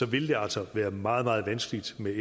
vil det altså være meget meget vanskeligt med